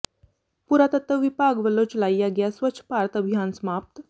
ਪੁਰਾਤਤਵ ਵਿਭਾਗ ਵਲੋਂ ਚਲਾਇਆ ਗਿਆ ਸਵੱਛ ਭਾਰਤ ਅਭਿਆਨ ਸਮਾਪਤ